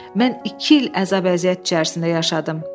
Mən iki il əzab-əziyyət içərisində yaşadım.